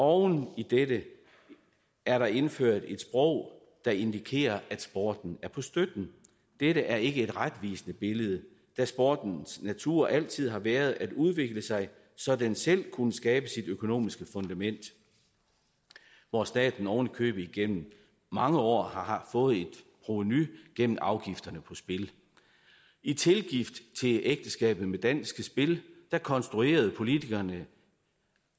oven i dette er der indført et sprog der indikerer at sporten er på støtten dette er ikke et retvisende billede da sportens natur altid har været at udvikle sig så den selv kunne skabe sit økonomiske fundament hvor staten oven i købet igennem mange år har fået et provenu gennem afgifterne på spil i tilgift til ægteskabet med danske spil konstruerede politikerne